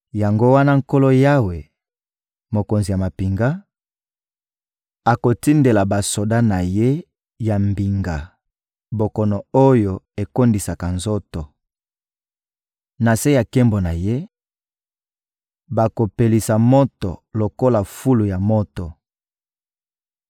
Yango wana Nkolo Yawe, Mokonzi ya mampinga, akotindela basoda na ye ya mbinga bokono oyo ekondisaka nzoto. Na se ya nkembo na Ye, bakopelisa moto lokola fulu ya moto.